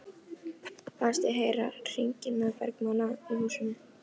Fannst ég heyra hringingarnar bergmála í húsinu.